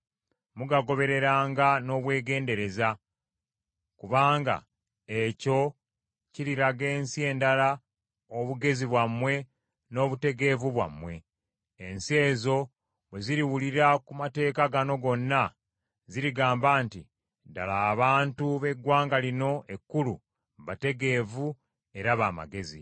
Mugagobererenga n’obwegendereza, kubanga ekyo kiriraga ensi endala obugezi bwammwe n’obutegeevu bwammwe. Ensi ezo bwe ziriwulira ku mateeka gano gonna zirigamba nti, “Ddala abantu b’eggwanga lino ekkulu bategeevu era ba magezi.”